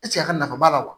a ka nafa b'a la wa